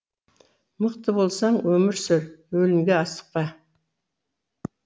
мықты болсаң өмір сүр өлімге асықпа